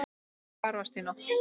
Og hvar varstu í nótt?